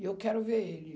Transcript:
E eu quero ver ele.